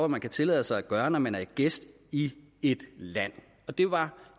man kan tillade sig at gøre når man er gæst i et land det var